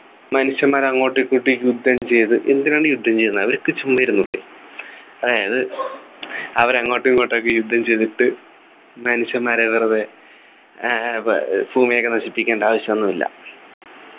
മനുഷ്യന്മാർ അങ്ങോട്ടും ഇങ്ങോട്ടും യുദ്ധം ചെയ്ത് എന്തിനാണ് യുദ്ധം ചെയ്യുന്നത് അവർക്ക് ചുമ്മാ ഇരുന്നൂടെ അതായത് അവർ അങ്ങോട്ടും ഇങ്ങോട്ടും ഒക്കെ യുദ്ധം ചെയ്തിട്ട് മനുഷ്യന്മാരെ വെറുതെ ഏർ ഭുമിയെയൊക്കെ നശിപ്പിക്കേണ്ട ആവശ്യമൊന്നുമില്ല